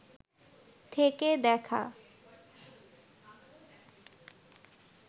থেকে দেখা